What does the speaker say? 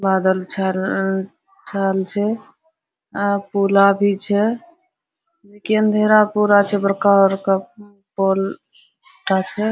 बादल छैएल छैएल छै आब पुला भी छै अंधेरा पूरा छे बड़का बड़का पुल टा छै ।